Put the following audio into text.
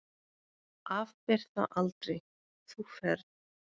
Afber það aldrei, þú ferð.